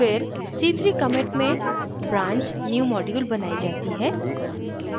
फिर c3 commit में branch newmodule बनाई जाती है